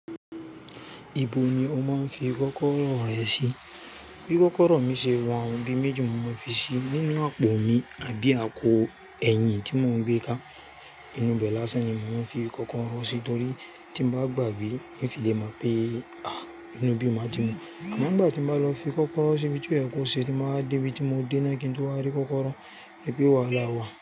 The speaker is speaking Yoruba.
Ibo ni o máa ń fi kọ́kọ́rọ́ rẹ sí? Bí kọ́kọ́rọ́ mi ṣe wa n, ibi méjì ni mo máa ń fi sí i, nínú àpò mi àbí ako ẹ̀yìn tí mo ń gbé ká. Inú bẹ lásán ni màá ń fi kọ́kọ́rọ́ sí, torí tí mo bá gbàgbé, n fi lè mọ pé inu ibí ni ma ti mu. Àmágbà tí mo bá lọ fi kọ́kọ́rọ́ síbi tí ó yẹ kó ṣe tí màá débi tí mo dé náà kí n tó rí kọ́kọ́rọ́, dípì wàhálà wà.